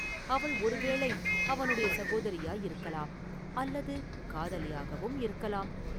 அவள் ஒருவேளை அவனுடைய சகோதரியாயிருக்கலாம் அல்லது காதலியாகவும் இருக்கலாம்.